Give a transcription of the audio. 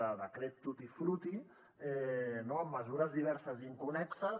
de decret tutti frutti amb mesures diverses inconnexes